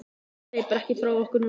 Hann hleypur ekki frá okkur núna.